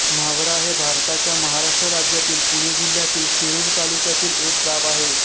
न्हावरा हे भारताच्या महाराष्ट्र राज्यातील पुणे जिल्ह्यातील शिरूर तालुक्यातील एक गाव आहे